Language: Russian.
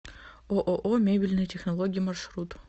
ооо мебельные технологии маршрут